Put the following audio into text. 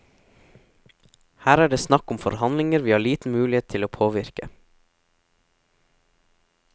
Her er det snakk om forhandlinger vi har liten mulighet til å påvirke.